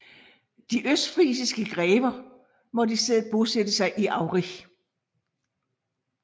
De østfrisiske grever måtte i stedet bosætte sig i Aurich